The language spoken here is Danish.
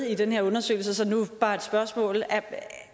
i den her undersøgelse så nu bare et spørgsmål